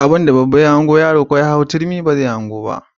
Abinda babba ya hango yaro ko ya hau turmi ba zai hango ba.